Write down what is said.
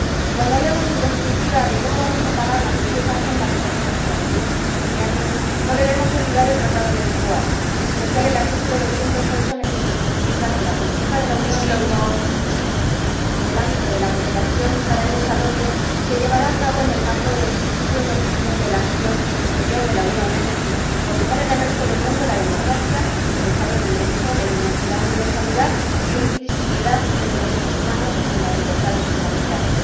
cuando hablemos, en definitiva, de cómo vamos a pagar la ambiciosa agenda que tenemos para los próximos quince años, no debemos olvidar el Tratado de Funcionamiento de la Unión Europea, en especial su artículo 208, en el que se especifica que la política de la Unión en el ámbito de la cooperación para el desarrollo se llevará a cabo en el marco de los principios y objetivos de la acción exterior de la Unión, es decir, fomentando en el resto del mundo la democracia, el Estado de Derecho, y la universalidad e indivisibilidad de los derechos humanos y de las libertades fundamentales.